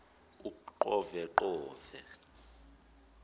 uqoveqove